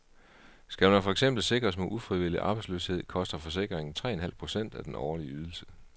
Skal man for eksempel sikres mod ufrivillig arbejdsløshed, koster forsikringen tre en halv procent af den årlige ydelse.